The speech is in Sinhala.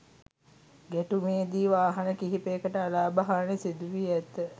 ගැටුමේදී වාහන කිහිපයකට අලාභ හානී සිදු වී ඇත.